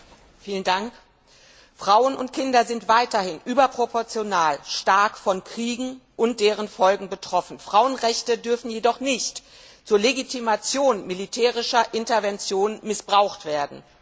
Frau Präsidentin! Frauen und Kinder sind weiterhin überproportional stark von Kriegen und deren Folgen betroffen. Frauenrechte dürfen jedoch nicht zur Legitimation militärischer Interventionen missbraucht werden.